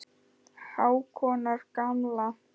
Hákonar gamla.